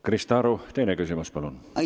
Krista Aru, teine küsimus, palun!